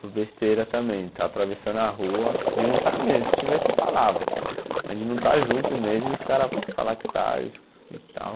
por besteira também, estar atravessando a rua, de não estar mesmo, se estivesse eu falava, mas de não estar junto mesmo e os caras falarem que está e tal.